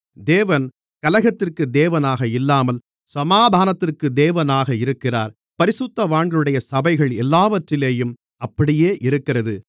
தேவன் கலகத்திற்கு தேவனாக இல்லாமல் சமாதானத்திற்கு தேவனாக இருக்கிறார் பரிசுத்தவான்களுடைய சபைகள் எல்லாவற்றிலேயும் அப்படியே இருக்கிறது